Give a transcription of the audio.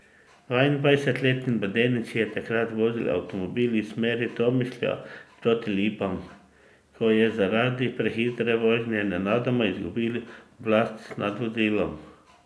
Dvaindvajsetletni mladenič je takrat vozil avtomobil iz smeri Tomišlja proti Lipam, ko je zaradi prehitre vožnje nenadoma izgubil oblast nad vozilom.